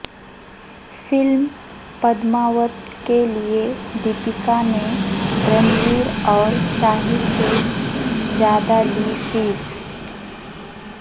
film Padmaavat کیلئے دیپکا نے رنویر اور شاہد سے زیادہ لی فیس